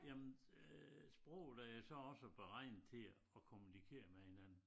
Jamen øh sproget er jo så også beregnet til at kommunikere med hinanden